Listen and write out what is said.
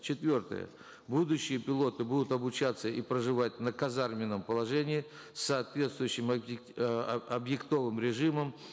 четвертое будущие пилоты будут обучаться и проживать на казарменном положении с соответствующим режимом